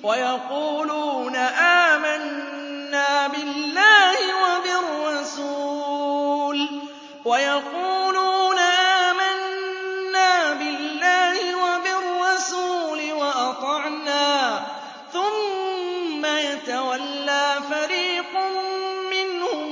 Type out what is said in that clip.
وَيَقُولُونَ آمَنَّا بِاللَّهِ وَبِالرَّسُولِ وَأَطَعْنَا ثُمَّ يَتَوَلَّىٰ فَرِيقٌ مِّنْهُم